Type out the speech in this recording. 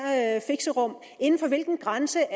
fixerum inden for hvilken grænse